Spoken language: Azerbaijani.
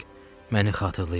Məni xatırlayırlar.